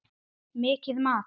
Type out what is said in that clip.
Mitt mat?